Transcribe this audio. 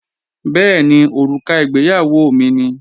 Bẹ́ẹ̀ni, òrùka ìgbéyàwó mi ni